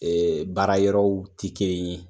Ɛɛ baara yɔrɔw ti kelen ye.